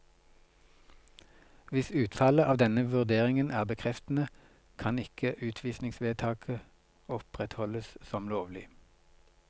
Hvis utfallet av denne vurderingen er bekreftende, kan ikke utvisningsvedtaket opprettholdes som lovlig.